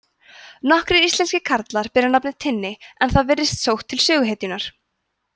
nokkrir íslenskir karlar bera nafnið tinni en það virðist sótt til söguhetjunnar